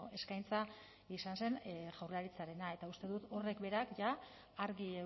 eskaintza izan zen jaurlaritzarena eta uste dut horrek berak jada argi